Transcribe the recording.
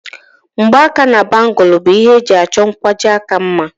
Mgbaaka na bangùlu bụ ihe eji achọ nkwajiaka mma